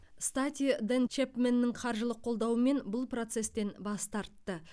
стати дэн чэпменның қаржылық қолдауымен бұл процестен бас тартты